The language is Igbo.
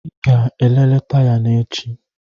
Ị ga-elele taya na echi.